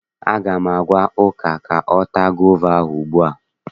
Aga m agwa Uju ka ọ taa gova ahụ ugbu a!